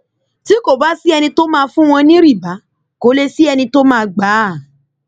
tí kò bá sí ẹni tó máa fún wọn ní rìbá kó lè sí ẹni tó máa gbà á